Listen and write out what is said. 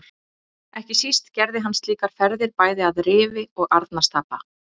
Ekki síst gerði hann slíkar ferðir bæði að Rifi og Arnarstapa.